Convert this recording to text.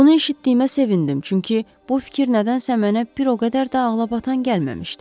Bunu eşitdiyimə sevindim, çünki bu fikir nədənsə mənə o qədər də ağlabatan gəlməmişdi.